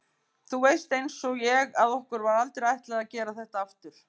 Þú veist einsog ég að okkur var aldrei ætlað að gera þetta aftur.